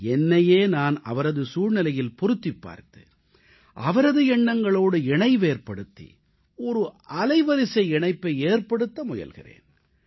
என்னையே நான் அவரது சூழ்நிலையில் பொருத்திப் பார்த்து அவரது எண்ணங்களோடு இணைவேற்படுத்தி ஒரு அலைவரிசை இணைப்பை ஏற்படுத்த முயல்கிறேன்